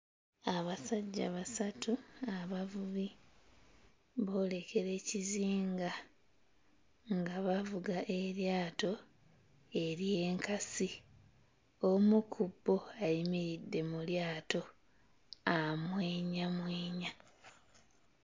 Abasajja basatu abavubi boolekera ekizinga nga bavuga eryato ery'enkasi; omu ku bo ayimiridde mu lyato amwenyamwenya.